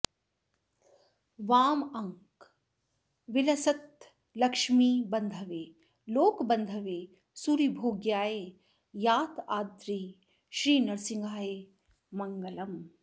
वामाङ्क विलसल्लक्ष्मीबन्धवे लोकबन्धवे सूरिभोग्याय यादाद्रि श्री नृसिंहाय मङ्गलम्